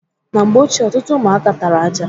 Na mgbe ochie, ọtụtụ ụmụaka tara aja.